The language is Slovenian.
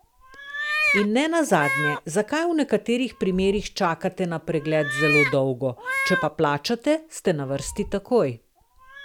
In ne nazadnje, zakaj v nekaterih primerih čakate na pregled zelo dolgo, če pa plačate, ste na vrsti takoj.